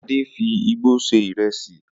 Ade fi igbó se ìrẹsì